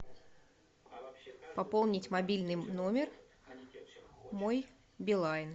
пополнить мобильный номер мой билайн